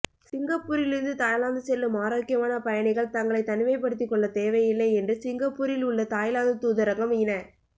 சிங்கப்பூரிலிருந்து Thailand செல்லும் ஆரோக்கியமான பயணிகள் தங்களைத் தனிமைப்படுத்திக்கொள்ளத் தேவையில்லை என்று சிங்கப்பூரில் உள்ள தாய்லாந்து தூதரகம் இன